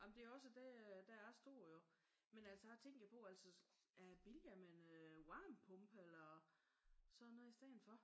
Jamen det er også det der er stort jo. Men altså der tænkte jeg på er det billigere med en varmepumpe eller sådan noget i stedet for?